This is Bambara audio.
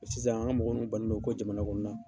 Ɔ Sisan an ka mɔgɔ nun banlen do ko jamana kɔnɔna